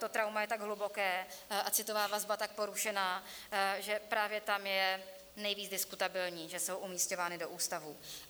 To trauma je tak hluboké a citová vazba tak porušená, že právě tam je nejvíc diskutabilní, že jsou umisťovány do ústavů.